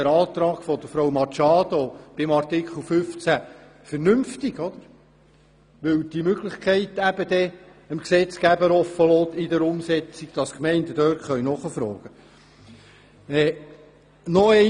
Der Antrag von Frau Machado zu Artikel 15 ist vernünftig, weil diese Möglichkeit dem Gesetzgeber in der Umsetzung offen lässt, dass die Gemeinden nachfragen können.